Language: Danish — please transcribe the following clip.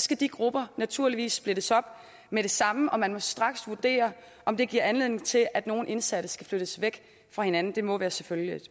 skal de grupper naturligvis splittes op med det samme og man må straks vurdere om det giver anledning til at nogle indsatte skal flyttes væk fra hinanden det må være selvfølgeligt